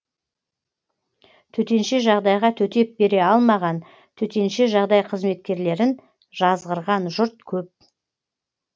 төтенше жағдайға төтеп бере алмаған төтенше жағдай қызметкерлерін жазғырған жұрт көп